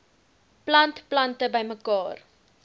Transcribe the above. plant plante bymekaar